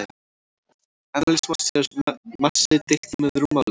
Eðlismassi er massi deilt með rúmmáli.